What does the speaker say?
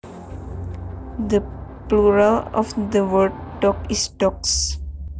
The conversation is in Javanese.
The plural of the word dog is dogs